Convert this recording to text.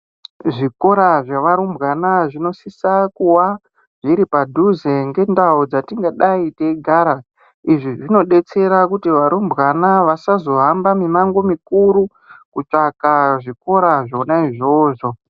Zvikora zvevarumbwana zvinosisa kuwa zviri padhuze ngendau dzatingadayi teyigara, izvi zvinodetsera kuti varumbwana vasazohamba mimango mikuru kutsvaka zvikora zvona izvozvo.